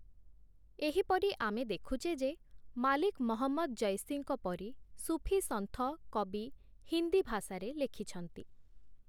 ଏହିପରି ଆମେ ଦେଖୁଛେ ଯେ, ମାଲିକ ମହମ୍ମଦ ଜୈସିଙ୍କ ପରି, ସୁଫିସନ୍ଥ କବି ହିନ୍ଦୀ ଭାଷାରେ ଲେଖିଛନ୍ତି ।